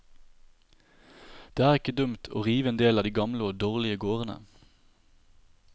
Det er ikke dumt å rive en del av de gamle og dårlige gårdene.